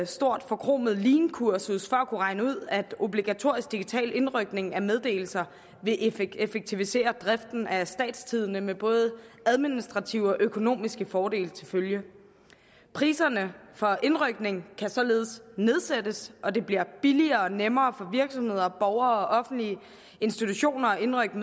stort forkromet leankursus for kunne regne ud at obligatorisk digital indrykning af meddelelser vil effektivisere driften af statstidende med både administrative og økonomiske fordele til følge priserne for indrykning kan således nedsættes og det bliver billigere og nemmere for virksomheder og borgere og offentlige institutioner at indrykke